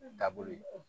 Da bolo